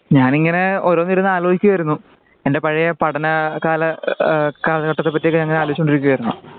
ഞാൻ ഇങ്ങനെ ഓരോന്നിരുന്നു ആലോചിക്കുവായിരുന്നു. എന്റെ പഴയ പഠനാ കലാ ആ കാലഘട്ടത്തെ പറ്റി ആലോചിച്ചു കൊണ്ടിരിക്കുവായിരുന്നു.